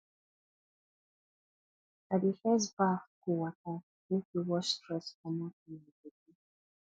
i dey first baff cold water make e wash stress comot for my bodi